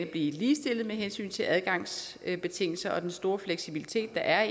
blive ligestillet med hensyn til adgangsbetingelser og den store fleksibilitet der er